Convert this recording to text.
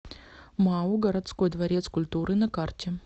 мау городской дворец культуры на карте